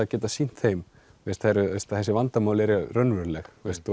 að geta sýnt þeim að þessi vandamál eru raunveruleg